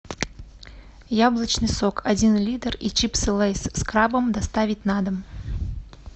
яблочный сок один литр и чипсы лейс с крабом доставить на дом